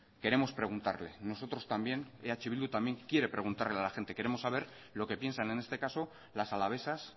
queremos preguntarle nosotros también eh bildu también quiere preguntarle a la gente queremos saber lo que piensan en este caso las alavesas